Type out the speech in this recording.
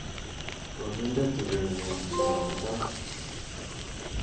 koginde tugenyun nebo mutai